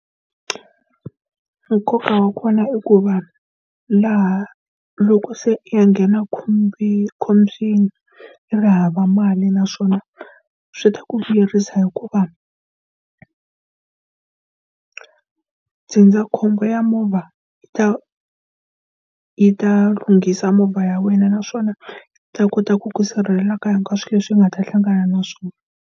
Nkoka wa kona i ku va laha loko se u ya nghena khombweni u ri hava mali naswona swi ta ku vuyerisa hikuva ndzindzakhombo ya movha yi ta yi ta lunghisa movha ya wena naswona yi ta kota ku ku sirhelela ka hinkwaswo swilo leswi u nga ta hlangana na swona.